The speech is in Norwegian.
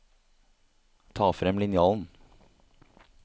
Ta frem linjalen